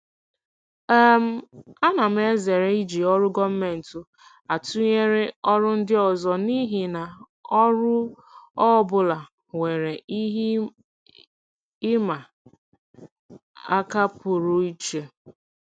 um Ana m ezere iji ọrụ gọọmentị atụnyere ọrụ ndị ọzọ n'ihi na ọrụ ọ bụla nwere ihe ịma aka pụrụ iche.